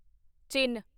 ਚਿਨ